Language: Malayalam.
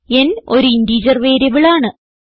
n ഒരു ഇന്റിജർ വേരിയബിളാണ്